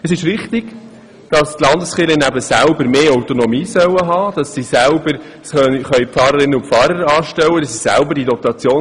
Es ist wichtig, dass die Landeskirchen mehr Autonomie erhalten und selber Pfarrerinnen und Pfarrer anstellen können.